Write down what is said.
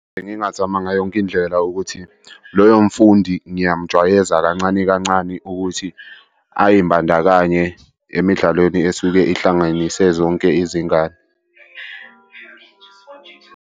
Bengingazama ngayo yonke indlela ukuthi loyo mfundi ngiyamjwayeza kancane kancane ukuthi ay'mbandakanye emidlalweni esuke ihlanganise zonke izingane.